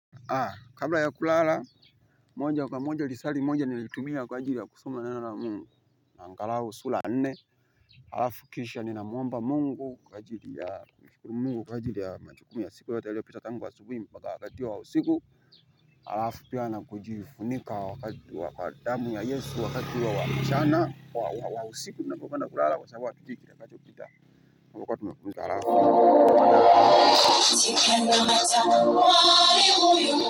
Aa kabla ya kulala moja kwa moja lisari moja nilitumia kwa ajili ya kusuma nana na mungu na angalau sula nne alafu kisha nina mwomba mungu kwa ajili ya mungu kwa ajili ya majukumu ya siku yote yaliopita tangu wa subuhi mpaka wakati huo wausiku alafu pia na kujifunika wakati wakadamu ya yesu wakati huo wamchana wa wa wausiku nina pokwenda kulala kwa sabwa piti kila kacho pita alafu mungu wana si kenda matata wa uwa uwa.